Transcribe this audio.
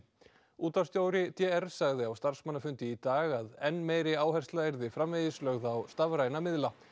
útvarpsstjóri d r sagði á starfsmannafundi í dag að enn meiri áhersla yrði framvegis lögð á stafræna miðla